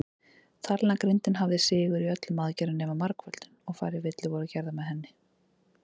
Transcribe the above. Talnagrindin hafði sigur í öllum aðgerðum nema margföldun, og færri villur voru gerðar með henni.